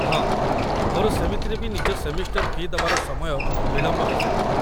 ହଁ, ମୋର ସେମିତିରେ ବି ନିଜ ସେମିଷ୍ଟର ଫି' ଦେବାର ସମୟ ବିଳମ୍ବ ହେଇସାରିଥିଲା